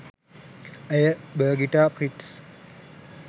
ඇය බර්ගිටා ප්‍රිට්ස්